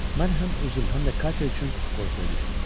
Mən həm özüm, həm də Katya üçün qorxuya düşdüm.